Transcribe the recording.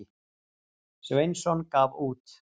Sveinsson gaf út.